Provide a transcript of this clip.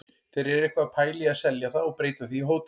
Þeir eru eitthvað að pæla í að selja það og breyta því í hótel.